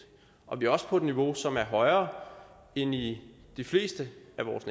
og vi er også på et niveau som er højere end i de fleste